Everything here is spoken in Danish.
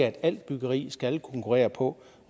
at alt byggeri skal konkurrere på